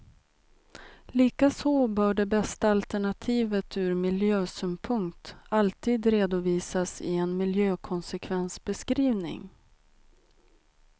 Likaså bör det bästa alternativet ur miljösynpunkt alltid redovisas i en miljökonsekvensbeskrivning.